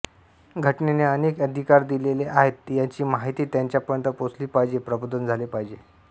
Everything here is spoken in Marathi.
घटनेने अनेक अधिकार दिलेले आहेत याची माहिती त्यांच्यापर्यंत पोहचली पाहिजे प्रबोधन झाले पाहिजे